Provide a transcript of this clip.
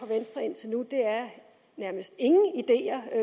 venstre indtil nu er nærmest ingen ideer at